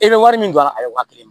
E bɛ wari min don a ye waa kelen